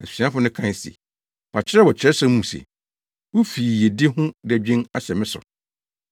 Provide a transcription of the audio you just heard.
Asuafo no kae se, wɔakyerɛw wɔ Kyerɛwsɛm no mu se, “Wo fi yiyedi ho dadwen ahyɛ me so.”